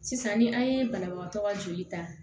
Sisan ni an ye banabagatɔ ka joli ta